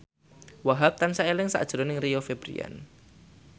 Wahhab tansah eling sakjroning Rio Febrian